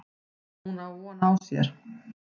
Hún á von á sér.